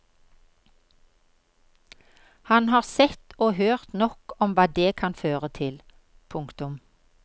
Han har sett og hørt nok om hva det kan føre til. punktum